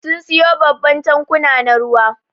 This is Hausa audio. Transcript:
Sun siyo babban tankuna na ruwa.